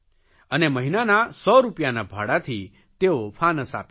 અને મહિનાના 100 રૂપિયાના ભાડાથી તેઓ ફાનસ આપે છે